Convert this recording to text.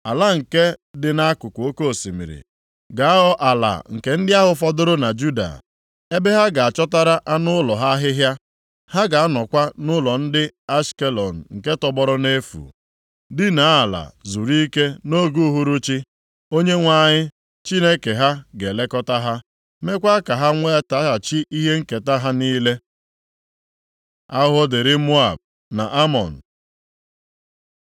Ala nke dị nʼakụkụ oke osimiri ga-aghọ ala nke ndị ahụ fọdụrụ na Juda, ebe ha ga-achọtara anụ ụlọ ha ahịhịa. Ha ga-anọkwa nʼụlọ ndị Ashkelọn nke tọgbọrọ nʼefu, dinaa ala zuru ike nʼoge uhuruchi. Onyenwe anyị Chineke ha ga-elekọta ha, mekwaa ka ha nwetaghachi ihe nketa ha niile. Ahụhụ dịrị Moab na Amọn